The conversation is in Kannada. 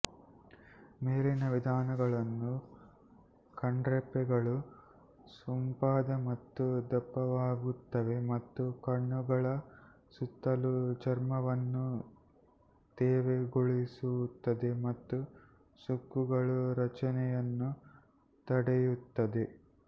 ಮೇಲಿನ ವಿಧಾನಗಳು ಕಣ್ರೆಪ್ಪೆಗಳು ಸೊಂಪಾದ ಮತ್ತು ದಪ್ಪವಾಗುತ್ತವೆ ಮತ್ತು ಕಣ್ಣುಗಳ ಸುತ್ತಲೂ ಚರ್ಮವನ್ನು ತೇವಗೊಳಿಸುತ್ತದೆ ಮತ್ತು ಸುಕ್ಕುಗಳ ರಚನೆಯನ್ನು ತಡೆಯುತ್ತದೆ